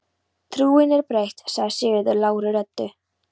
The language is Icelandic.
Trúin er breytt, sagði Sigurður lágri röddu.